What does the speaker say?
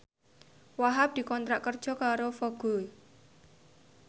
Wahhab dikontrak kerja karo Vogue